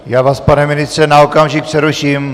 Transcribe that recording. Já vás, pane ministře, na okamžik přeruším.